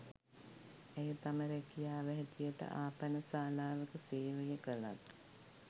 ඇය තම ‍රැකියාව හැටියට ආපනශාලාවක සේවය කලත්